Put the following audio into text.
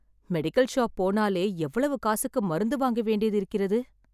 Medical shop போனாலே எவ்வளவு காசுக்கு மருந்து வாங்க வேண்டியது இருக்கிறது.